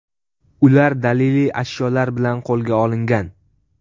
Ular daliliy ashyolar bilan qo‘lga olingan.